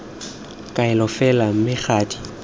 kaelo fela mme ga di